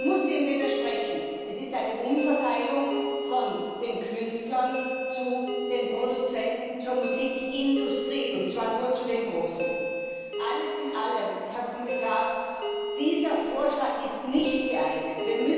Ich musste ihm widersprechen Es ist eine Umverteilung von den Künstlern zu den Produzenten, zur Musikindustrie, und zwar nur zu den Großen. Alles in allem, Herr Kommissar Dieser Vorschlag ist nicht geeignet.